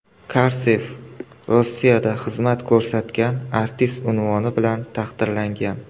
Karsev Rossiyada xizmat ko‘rsatgan artist unvoni bilan taqdirlangan.